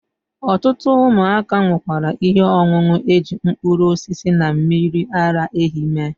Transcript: Otutu umuaka nukwara ihe onunu eji mkpuru osisi na mmiri ara ehi mee.